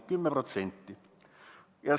" 10%!